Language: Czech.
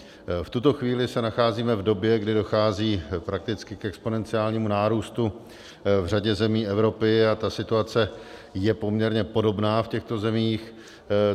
V tuto chvíli se nacházíme v době, kdy dochází prakticky k exponenciálnímu nárůstu v řadě zemí Evropy, a ta situace je poměrně podobná v těchto zemích.